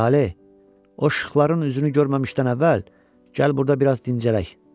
Saleh, o işıqların üzünü görməmişdən əvvəl gəl burda biraz dincələk.